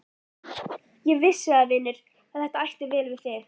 Ég vissi það, vinur, að þetta ætti vel við þig.